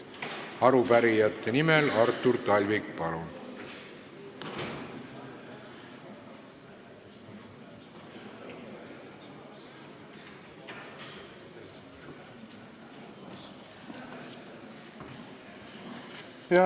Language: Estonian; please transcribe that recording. Arupärijate nimel Artur Talvik, palun!